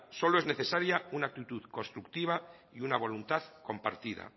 solo es necesaria un actitud constructiva y una voluntad compartida